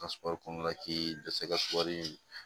Ka sukɔri kɔnɔna la k'i dɛsɛ ka sɔrɔri